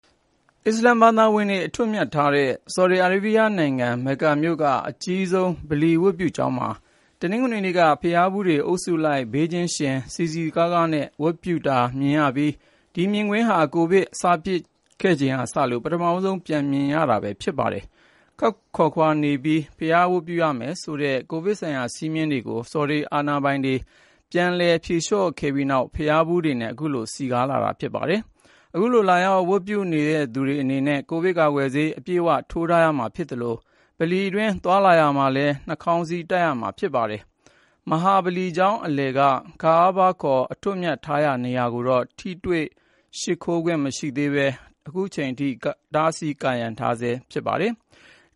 အစ္စလာမ်ဘာသာဝင်တွေ အထွတ်အမြတ်ထားတဲ့ ဆော်ဒီအာရေးဗျနိုင်ငံ မက္ကာမြို့က အကြီးဆုံး ဗလီဝတ်ပြုကျောင်းမှာ တနင်္ဂနွေနေ့က ဘုရားဖူးတွေ အုပ်စုလိုက် ဘေးချင်းယှဉ် စည်စည်ကားကားနဲ့ ဝတ်ပြုတာမြင်ရပြီး ဒီမြင်ကွင်းဟာ ကိုဗစ် စဖြစ်ခဲ့ချိန်ကစလို့ ပထမဦးဆုံး ပြန်မြင်ရတာ ဖြစ်ပါတယ်။ ခပ်ခွာခွာနေပြီး ဘုရားဝတ်ပြုရမယ်ဆိုတဲ့ ကိုဗစ်ဆိုင်ရာ စည်းမျည်းတွေကိုလည်း ဆော်ဒီအာဏာပိုင်တွေက ပြန်လည် ဖြေလျှော့ခဲ့ပြီးနောက် ဘုရားဖူးတွေနဲ့ ခုလို စည်ကားနေတာပါ။ အခုလို လာရောက် ဝတ်ပြုသူတွေအနေနဲ့ ကိုဗစ်ကာကွယ်ဆေး အပြည့်အဝ ထိုးထားရမှာ ဖြစ်သလို ဗလီအတွင်း သွားလာရာမှာလည်း နှာခေါင်းစည်း တပ်ထားရမှာ ဖြစ်ပါတယ်။ မဟာဗလီကျောင်း အလယ်က "Kaaba" ခေါ် အထွတ်အမြတ်ထားရာ နေရာကိုတော့ ထိတွေ့ရှိခိုးခွင့် မရသေးဘဲ အတားအဆီးတွေနဲ့ ကာရံထားဆဲ ဖြစ်ပါတယ်။